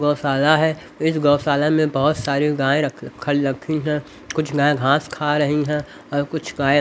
गौशाला है इस गौशाला में बहुत सारी गाय रखी हैं कुछ गाय घास खा रही हैं और कुछ गाय--